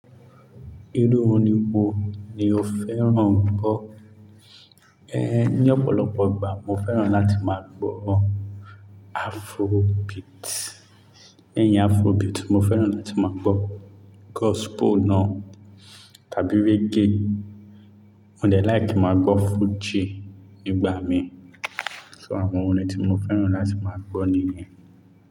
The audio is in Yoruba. Irú orin wo ni o fẹ́ràn gbọ́? Ehn, ní ọ̀pọ̀lọpọ̀ ìgbà mo fẹ́ràn láti máa gbọ́ Afrobeat. Lẹ́yìn Afrobeat, mo fẹ́ràn láti máa gbọ́ gospel náà tàbí reggae. Mo dẹ̀ like ki máa gbọ́ Fuji nígbà mi. So àwọn orin ni tí mo fẹ́ràn láti máa gbọ́ nìyẹn.